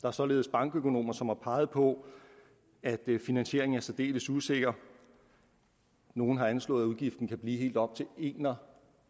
er således bankøkonomer som har peget på at finansieringen er særdeles usikker nogle har anslået at udgiften kan blive helt op til en og